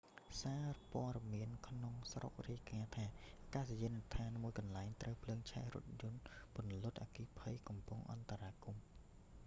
សារព័ត៌មានក្នុងស្រុករាយការណ៍ថាអាកាសយានដ្ឋានមួយកន្លែងត្រូវភ្លើងឆេះរថយន្តពន្លត់អគ្គិភ័យកំពុងអន្តរាគមន៍